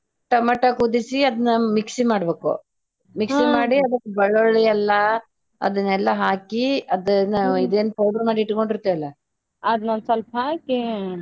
Tomato ಕುದಿಸಿ ಅದ್ನ mixie ಮಾಡ್ಬೇಕು ಮಿಕ್ಸಿ ಮಾಡಿ ಅದಕ್ಕ ಬಳ್ಳೊಳ್ಳಿ ಅಲ್ಲಾ ಅದನೆಲ್ಲ ಹಾಕಿ ಅದನ್ನ ಇದ್ ಏನ್ powder ಇಟ್ಟ್ಕೊಂಡಿರ್ತೇವಲ್ಲ ಅದ್ನ್ ಸ್ವಲ್ಪ ಹಾಕಿ.